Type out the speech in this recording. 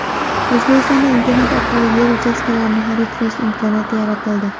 O‘zbekistonda internet orqali yer uchastkalarini xarid qilish imkoniyati yaratildi.